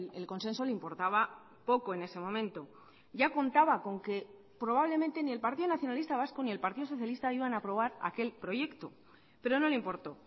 el consenso le importaba poco en ese momento ya contaba con que probablemente ni el partido nacionalista vasco ni el partido socialista iban a aprobar aquel proyecto pero no le importó